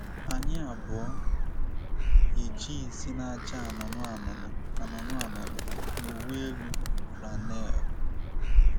Anyị abụọ yi jịnsị na-acha anụnụ anụnụ anụnụ anụnụ na uwe-enu flannel.